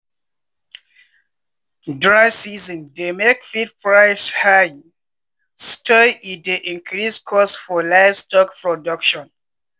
dry season dey make feed price high sotey e dey increase cost for livestock production.